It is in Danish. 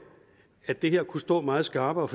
at det kunne stå meget skarpere